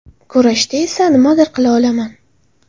Kurashda esa nimadir qila olaman.